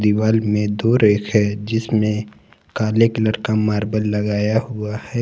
दिवाली में दो रेक है जिसमें काले कलर का मार्बल लगाया हुआ है।